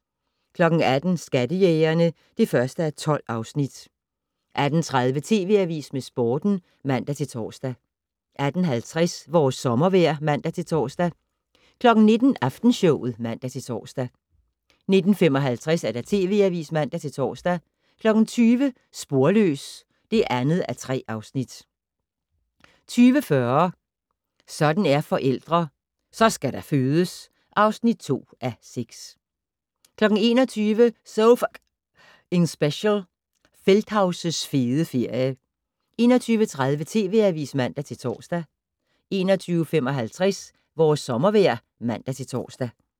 18:00: Skattejægerne (1:12) 18:30: TV Avisen med Sporten (man-tor) 18:50: Vores sommervejr (man-tor) 19:00: Aftenshowet (man-tor) 19:55: TV Avisen (man-tor) 20:00: Sporløs (2:3) 20:40: Sådan er forældre - så skal der fødes! (2:6) 21:00: So F***ing Special - Feldthaus' fede ferie 21:30: TV Avisen (man-tor) 21:55: Vores sommervejr (man-tor)